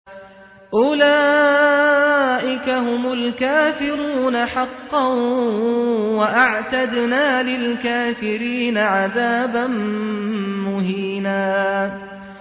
أُولَٰئِكَ هُمُ الْكَافِرُونَ حَقًّا ۚ وَأَعْتَدْنَا لِلْكَافِرِينَ عَذَابًا مُّهِينًا